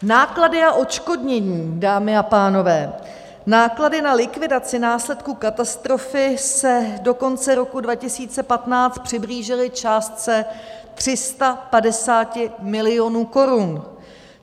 Náklady a odškodnění, dámy a pánové: náklady na likvidaci následků katastrofy se do konce roku 2015 přiblížily částce 350 milionů korun.